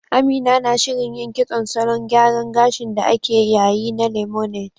Amina na shirin yin kitson salon gyaran gashin da ake yayi na Lemonade